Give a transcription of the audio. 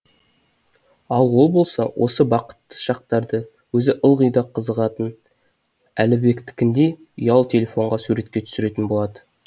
ал ол болса осы бақытты шақтарды өзі ылғи да қызығатын әлібектікіндей ұялы телефонға суретке түсіретін болады